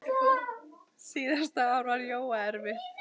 Síðasta ár var Jóa erfitt.